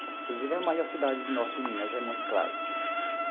Inclusive a maior cidade do Norte de Minas, é Montes Claros.